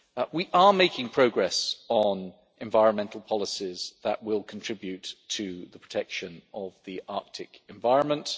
We are making progress on environmental policies that will contribute to the protection of the Arctic environment.